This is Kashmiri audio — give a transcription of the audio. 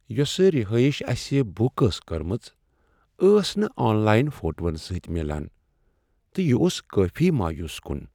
یۄسہٕ رہٲیش اسہ بک ٲس کٕرمٕژ ٲس نہٕ آن لاین فوٹون سۭتۍ میلان، تہٕ یِہ اوٚس کٲفی مایوس کن۔